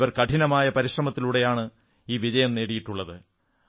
ഇവർ കഠിനമായ പരിശ്രമത്തിലൂടെയാണ് ഈ വിജയം നേടിയിട്ടുള്ളത്